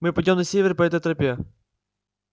мы пойдём на север по этой тропе